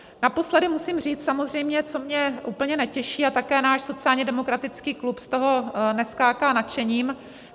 Naposledy musím říct samozřejmě, co mě úplně netěší, a také náš sociálně demokratický klub z toho neskáče nadšením.